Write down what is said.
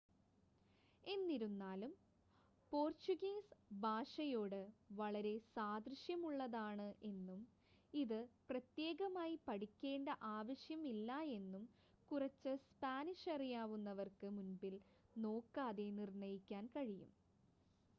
എന്നിരുന്നാലും പോർട്ടുഗീസ് ഭാഷയോട് വളരെ സാദൃശ്യമുള്ളതാണ് എന്നും ഇത് പ്രത്യേകമായി പഠിക്കേണ്ട ആവശ്യം ഇല്ല എന്നും കുറച്ച് സ്‌പാനിഷ് അറിയാവുന്നവർക്ക് മുൻപിൻ നോക്കാതെ നിർണ്ണയിക്കാൻ കഴിയും